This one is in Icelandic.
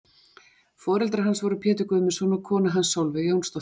Foreldrar hans voru Pétur Guðmundsson og kona hans Solveig Jónsdóttir.